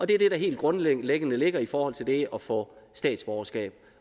det er det der helt grundlæggende ligger i forhold til det at få statsborgerskab